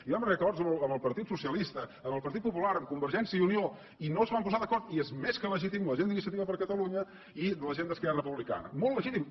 i vam arribar a acords amb el partit socialista amb el partit popular amb convergència i unió i no es van posar d’acord i és més que legítim la gent d’iniciativa per catalunya i la gent d’esquerra republicana molt legítim